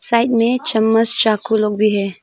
Side में चम्मच चाकू लोग भी है।